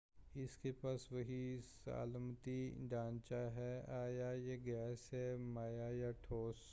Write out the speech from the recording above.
اس کے پاس وہی سالماتی ڈھانچہ ہے آیا یہ گیس ہے مائع یا ٹھوس